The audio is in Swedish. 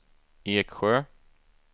Eksjö